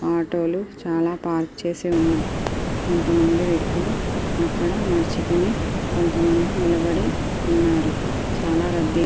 ఆటోలు చాలా పార్క్ చేసివుంటాయి కొంత మంది వ్వక్తులు అక్కడ నడుచుకోని కొంత మంది నిలబడి ఉన్నారు చాలా రద్దీ.